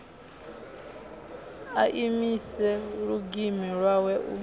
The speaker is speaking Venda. a imise lulimi lwawe u